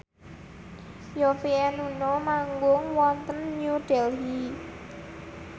Yovie and Nuno manggung wonten New Delhi